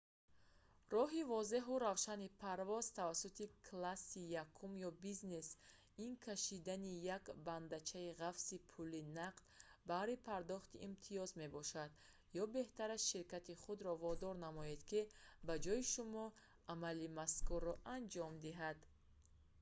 роҳи возеҳу равшани парвоз тавассути класси якум ё бизнес ин кашидани як бандчаи ғафси пули нақд баҳри пардохти имтиёз мебошад ё беҳтараш ширкати худро водор намоед ки ба ҷои шумо амали мазкурро анҷом диҳад